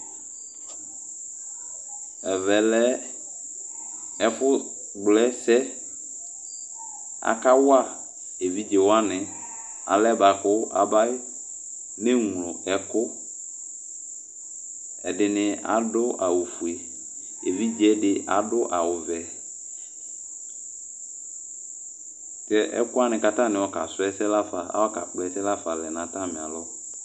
Ɛvɛ Le ɛfʋ kpla ɛsɛ Aka wa evidze wani alɛ bua kʋ aba ne ŋlo ɛkʋ Ɛdini adʋ awʋ fue, evidze di adʋ awʋ vɛ yɛ , ɛkʋwaŋi bua k'atani ayɔ ka dʋ ɛsɛ lafa, ayɔ ka kpla ɛsɛ lafa lɛ n'atami alɔ